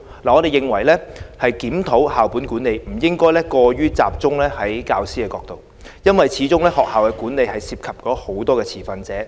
我們認為檢討校本管理，不應過於集中在教師的角度，因為始終學校的管理涉及很多持份者。